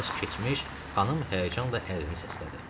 Az keçmiş xanım həyəcanla əlini səslədi.